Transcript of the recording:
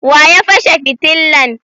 wa ya fashe fitillan?